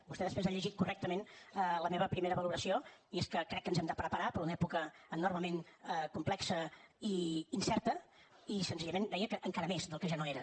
vostè després ha llegit correctament la meva primera valoració i és que crec que ens hem de preparar per a una època enormement complexa i incerta i senzillament deia que encara més del que ja no era